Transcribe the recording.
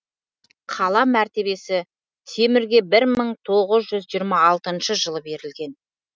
қала мәртебесі темірге бір мың тоғыз жүз жиырма алтыншы жылы берілген